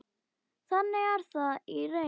Þannig er það í reynd.